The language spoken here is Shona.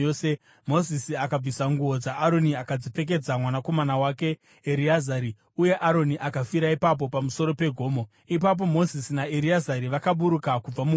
Mozisi akabvisa nguo dzaAroni akadzipfekedza mwanakomana wake Ereazari. Uye Aroni akafira ipapo pamusoro pegomo. Ipapo Mozisi naEreazari vakaburuka kubva mugomo.